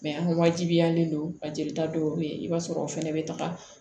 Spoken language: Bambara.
an ka wajibiyalen don a jelita dɔw bɛ yen i b'a sɔrɔ o fana bɛ taga